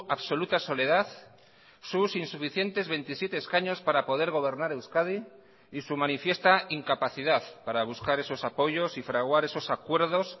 absoluta soledad sus insuficientes veintisiete escaños para poder gobernar euskadi y su manifiesta incapacidad para buscar esos apoyos y fraguar esos acuerdos